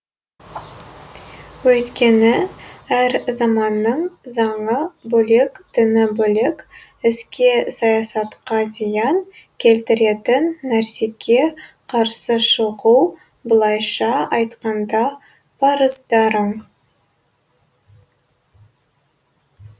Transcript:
өйткені әр заманның заңы бөлек діні бөлек іске саясатқа зиян келтіретін нәрсеге қарсы шығу былайша айтқанда парыздарың